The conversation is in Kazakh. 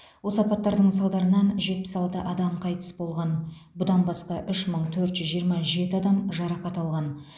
осы апаттардың салдарынан жетпіс алты адам қайтыс болған бұдан басқа үш мың төрт жүз жиырма жеті адам жарақат алған